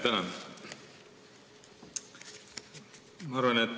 Tänan!